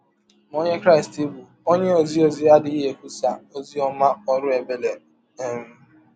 Ma ọnye Krịsti bụ́ ọnye ọzi ọzi adịghị ekwụsa ọzi ọma ọrụ ebere. um